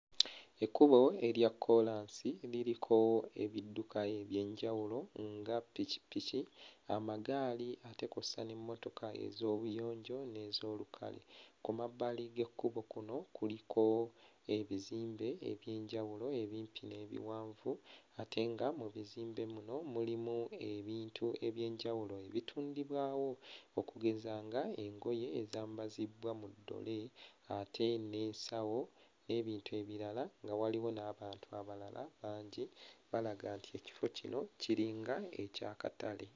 Ekkubo erya kkoolansi liriko ebidduka eby'enjawulo nga ppikipiki amagaali ate kw'ossa n'emmotoka ez'obuyonjo n'ez'olukale. Ku mabbali g'ekkubo kuno kuliko ebizimbe eby'enjawulo ebimpi n'ebiwanvu ate nga mu bizimbe muno mulimu abintu eby'enjawulo ebitundibwawo okugeza ng'engoye ezambazibbwa mu ddole ate n'ensawo n'ebintu ebirala nga waliwo n'abantu abalala bangi, balaga nti ekifo kino kiringa eky'akatale.